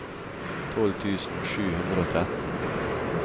tolv tusen sju hundre og tretten